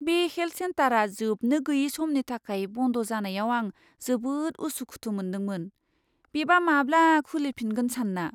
बे हेल्थ सेन्टारआ जोबनो गैयै समनि थाखाय बन्द जानायाव आं जोबोद उसु खुथु मोनदोंमोन, बेबा माब्ला खुलि फिनगोन सानना।